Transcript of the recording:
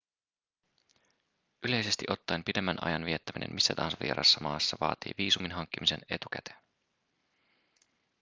yleisesti ottaen pidemmän ajan viettäminen missä tahansa vieraassa maassa vaatii viisumin hankkimisen etukäteen